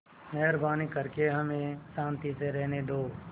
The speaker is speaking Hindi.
मेहरबानी करके हमें शान्ति से रहने दो